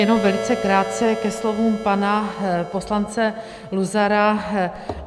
Jenom velice krátce ke slovům pana poslance Luzara.